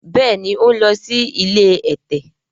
béèni o n ló sì ilé ẹ̀tẹ̀.